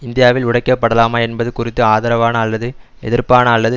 இந்தியாவில் உடைக்கப்படலாமா என்பது குறித்து ஆதரவான அல்லது எதிர்ப்பான அல்லது